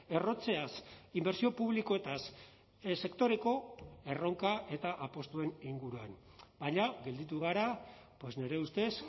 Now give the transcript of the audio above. errotzeaz inbertsio publikoetaz sektoreko erronka eta apustuen inguruan baina gelditu gara nire ustez